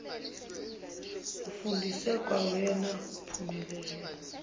ufundiswe kwawena uphumelele